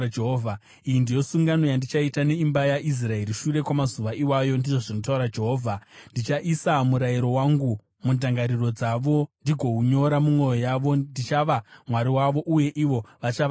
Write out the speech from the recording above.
“Iyi indiyo sungano yandichaita neimba yaIsraeri shure kwamazuva iwayo,” ndizvo zvinotaura Jehovha. “Ndichaisa murayiro wangu mundangariro dzavo uye ndigounyora mumwoyo yavo. Ndichava Mwari wavo, uye ivo vachava vanhu vangu.